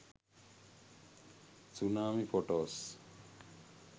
tsunami photos